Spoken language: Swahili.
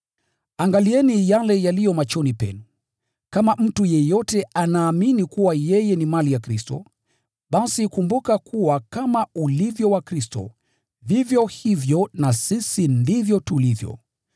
Angalieni yale yaliyo machoni penu. Kama mtu yeyote anaamini kuwa yeye ni mali ya Kristo, basi kumbuka kuwa kama ulivyo wa Kristo, vivyo hivyo na sisi ndivyo tulivyo.